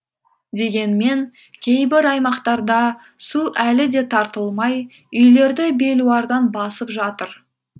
дегенмен кейбір аймақтарда су әлі де тартылмай үйлерді белуардан басып жатыр